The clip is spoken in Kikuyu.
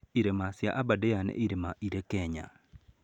Irĩma cia Aberdare nĩ irĩma irĩ Kenya.